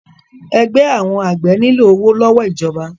Ẹgbẹ́ àwọn àgbẹ̀ nílò owó lọ́wọ́ ìjọba.